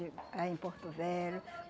ih ah em Porto Velho.